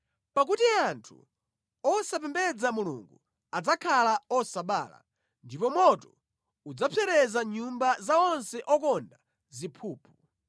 Pakuti anthu osapembedza Mulungu adzakhala osabala ndipo moto udzapsereza nyumba za onse okonda ziphuphu.